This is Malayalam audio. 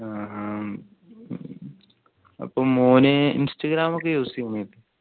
ആഹ് ഉം ഉം അപ്പൊ മോന് ഇൻസ്റ്റാഗ്രാം ഒക്കെ use ചെയ്ന്നോ